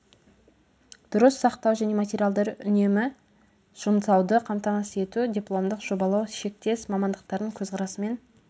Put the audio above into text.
дұрыс сақтау және материалдарды үнемді жұмсауды қамтамасыз ету дипломдық жобалау шектес мамандықтардың көзқарасымен